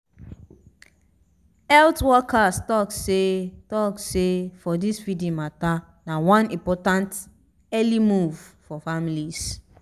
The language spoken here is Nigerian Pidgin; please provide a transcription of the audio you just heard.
health workers talk seh talk seh for this feeding mata na one important early move for families